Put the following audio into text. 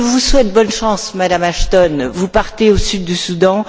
Je vous souhaite bonne chance, Madame Ashton. Vous partez au Sud Soudan